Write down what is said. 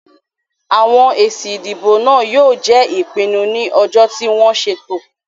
Àwọn èsì ìdìbò náà yóò jẹ́ ìpinnu ní ọjọ́ tí wọ́n ṣètò.